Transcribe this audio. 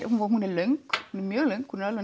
hún er löng mjög löng